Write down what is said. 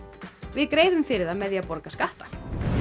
við greiðum fyrir það með því að borga skatta